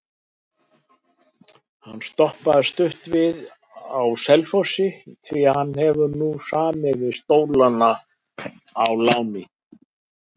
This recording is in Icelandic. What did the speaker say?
Hann stoppaði stutt við á Selfossi því hann hefur nú samið við Stólana á láni.